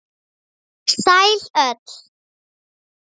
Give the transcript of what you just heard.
Sæl öll.